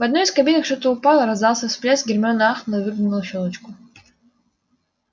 в одной из кабинок что-то упало раздался всплеск гермиона ахнула и выглянула в щёлочку